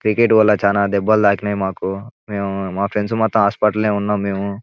Cricket వల్ల చాలా దెబ్బలు తాకినయి మాకు. మేము మా ఫ్రెండ్స్ మొత్తం హాస్పిటల్ లోనే ఉన్నాము మేము.